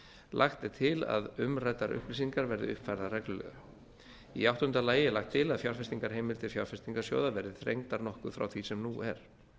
lagt er til að umræddar upplýsingar verði uppfærðar reglulega í áttunda lagi er lagt til að fjárfestingarheimildir fjárfestingarsjóða verði þrengdar nokkuð frá því sem nú er